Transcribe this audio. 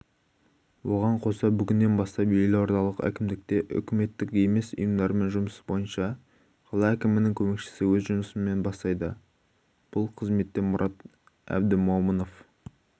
оған қоса бүгіннен бастап елордалық әкімдікте үкіметтік емес ұйымдармен жұмыс бойынша қала әкімінің көмекшісі өз жұмысын бастайды бұл қызметке мұрат абдімомынов